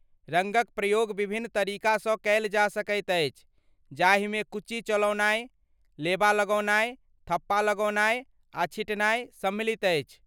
रङ्गक प्रयोग विभिन्न तरीकासँ कयल जा सकैत अछि, जाहिमे कूची चलौनाइ, लेबा लगौनाइ, थप्पा लगौनाइ आ छिटनाइ सम्मिलित अछि।